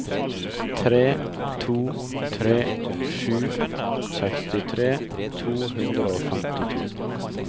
tre to tre sju sekstitre to hundre og femtito